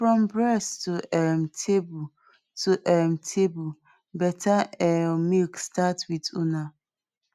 from breast to um table to um table better um milk start with una